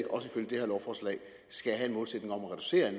også ifølge det her lovforslag skal have en målsætning om at reducere